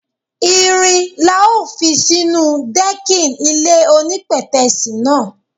Irin la ó fi sínú dẹ́kìn ilé onípètẹ́sì náà.